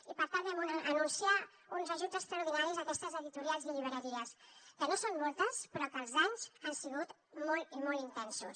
i per tant vam anunciar uns ajuts extraordinaris a aquestes editorials i llibreries que no són moltes però que els danys han sigut molt i molt intensos